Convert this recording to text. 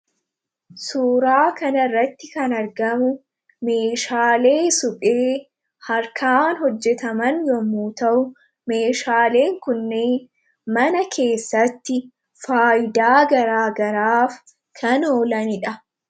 Suuraa kanarratti kan argamu meeshaalee suphee harkaan hojjetaman yommuu ta'u, meeshaalee kunneen mana keessatti faayidaa garaa garaaf kan oolanidha.